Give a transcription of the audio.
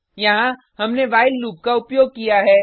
यहाँ हमने while loop का उपयोग किया है